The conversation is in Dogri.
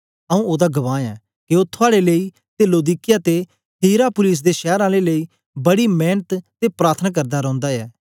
आऊँ ओदा गवाह ऐं के ओ थुआड़े लेई ते लौदीकिया ते हियरापुलिस दे शैर आलें लेई बड़ी मेंनत ते प्रार्थना करदा रौंदा ऐ